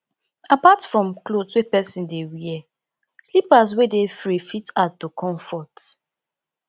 aside from cloth wey person dey wear slippers wey dey free fit add to comfort